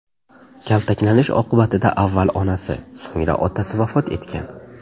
Kaltaklanish oqibatida avval onasi, so‘ngra otasi vafot etgan.